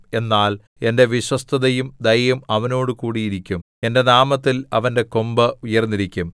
എന്നാൽ എന്റെ വിശ്വസ്തതയും ദയയും അവനോടുകൂടി ഇരിക്കും എന്റെ നാമത്തിൽ അവന്റെ കൊമ്പ് ഉയർന്നിരിക്കും